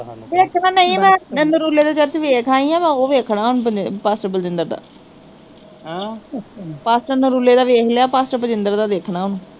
ਇੱਕ ਨਾ ਨਈ ਮੈਂ ਨਰੂਲੇ ਦਾ ਚਰਚ ਵੇਖ ਆਈ ਆ ਮੈਂ ਓਹ ਵੇਖਣਾ ਹੁਣ ਪਸ ਅਪਚੀਨਦਰ ਦਾ ਪਰ ਨਰੂਲੇ ਦਾ ਵੇਖ ਲਿਆ, ਪਸ ਅਪਚੀਨਦਰ ਦਾ ਦੇਖਣ ਵਾਂ